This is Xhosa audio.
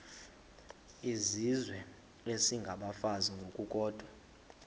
izizwe isengabafazi ngokukodwa